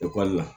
Ekɔli la